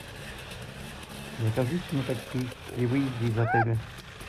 закажите мне такси при выезде из отеля